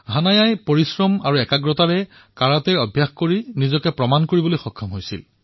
হানায়াই পৰিশ্ৰমেৰে কাৰাটেৰ অনুশীলন কৰিছে তাৰে কৌশলসমূহ শিকিছে আৰু নিজকে যোগ্য প্ৰতিপন্ন কৰিছে